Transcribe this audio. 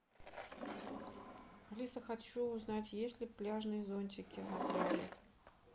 алиса хочу узнать есть ли пляжные зонтики на пляже